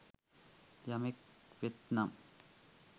යමෙක් වෙත්නම්